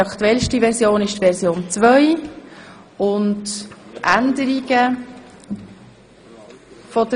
Die aktuellste Version des Antrags ist die Version 2.